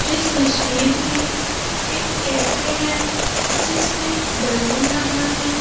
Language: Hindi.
इस तस्वीर में एक कैफे है जिसमें बैलून लगा है।